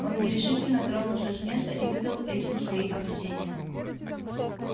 он нерешительно тронулся с места и выдал этим свои опасения